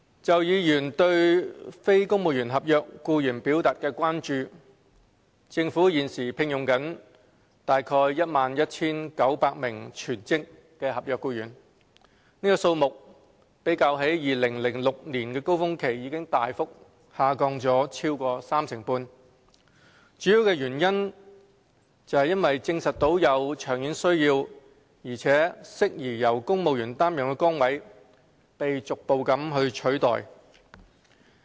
就議員對非公務員合約僱員表達的關注，政府現正聘用約 11,900 名全職合約僱員，數目較2006年高峰期已大幅下降超過三成半，主要原因是證實有長遠需要並適宜由公務員擔任的崗位被逐步取代。